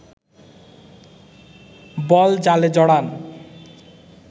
বল জালে জড়ান